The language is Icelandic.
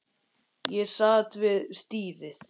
Ég sat við stýrið.